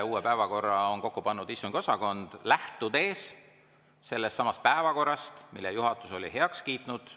Uue päevakorra on kokku pannud istungiosakond, lähtudes sellestsamast päevakorrast, mille juhatus oli heaks kiitnud.